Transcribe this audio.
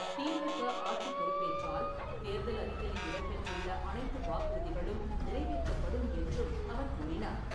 திமுக ஆட்சிப் பொறுப்பேற்றால், தேர்தல் அறிக்கையில் இடம்பெற்றுள்ள அனைத்து வாக்குறுதிகளும் நிறைவேற்றப்படும் என்றும் அவர் கூறினார்.